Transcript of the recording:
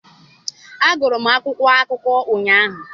Agụrụ m akwụkwọ akụkọ ụnyaahụ.